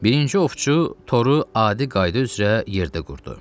Birinci ovçu toru adi qayda üzrə yerdə qurdu.